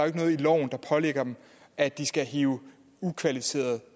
ikke noget i loven der pålægger dem at de skal hive ukvalificerede